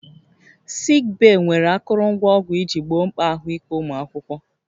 Sik bee nwere akụrụngwa ọgwụ iji gboo mkpa ahụike ụmụ akwụkwọ